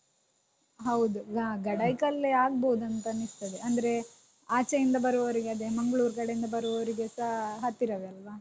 ಹೌದು ಹ ಗಡಾಯಿಕಲ್ಲೇ ಆಗ್ಬೋದಾಂತನಿಸ್ತದೆ ಅಂದ್ರೇ ಆಚೆಯಿಂದ ಬರುವವರಿಗೆ ಅದೇ mangalore ಕಡೆಯಿಂದ ಬರುವವರಿಗೆಸ ಹತ್ತಿರವೇ ಅಲ್ವಾ.